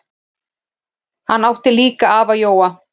Hann átti líka afa Jóa.